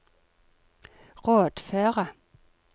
rådføre